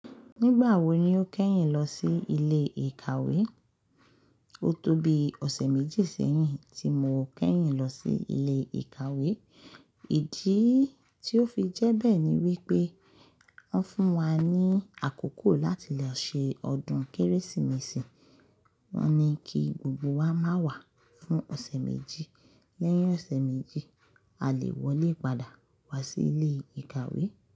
Nígbà wo ni o kẹ́yìn lọ sí ilé ìkàwé? O tó bi ọ̀sẹ̀ méjì sẹ́yìn tí mo kẹ́yìn lọ sí ilé ìkàwé. Ìdí tí ó fi jẹ́ bẹ́ẹ̀ ni wípé wọ́n fún wa ni àkókò láti lọ ṣe ọdún Kérésìmesì. Wọ́n ní kí gbogbo wa má wá fún ọ̀sẹ̀ méjì, lẹ́yìn ọ̀sẹ̀ méjì, a lè wọlé padà wá sí ilé ìkàwé.